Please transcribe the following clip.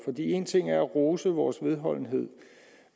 én ting er at rose vores vedholdenhed